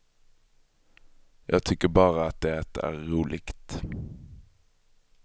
Jag tycker bara att det är roligt.